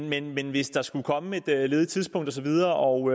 men men hvis der skulle komme et ledigt tidspunkt og så videre og